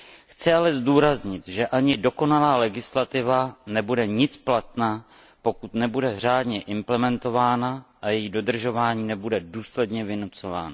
Chci ale zdůraznit, že ani dokonalá legislativa nebude nic platná, pokud nebude řádně implementována a její dodržování nebude důsledně vynucováno.